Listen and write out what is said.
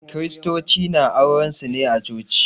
Kiristoci na auren su ne a Coci.